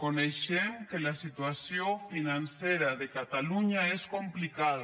coneixem que la situació financera de catalunya és complicada